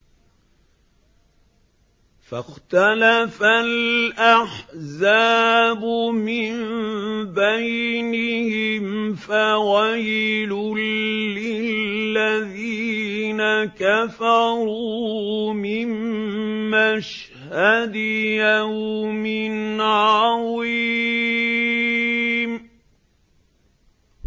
فَاخْتَلَفَ الْأَحْزَابُ مِن بَيْنِهِمْ ۖ فَوَيْلٌ لِّلَّذِينَ كَفَرُوا مِن مَّشْهَدِ يَوْمٍ عَظِيمٍ